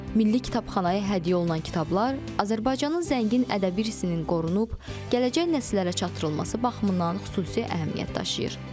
Milli kitabxanaya hədiyyə olunan kitablar Azərbaycanın zəngin ədəbi irsinin qorunub gələcək nəsillərə çatdırılması baxımından xüsusi əhəmiyyət daşıyır.